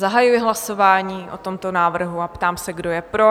Zahajuji hlasování o tomto návrhu a ptám se, kdo je pro?